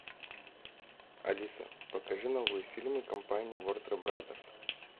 алиса покажи новые фильмы компании ворнер бразерс